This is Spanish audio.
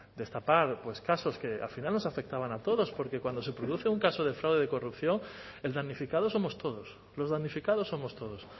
destapar casos que al final nos afectaban a todos porque cuando se produce un caso de fraude de corrupción el damnificado somos todos los damnificados somos todos